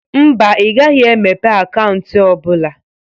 Mba, I gaghi emepe akaunti ọ bụla.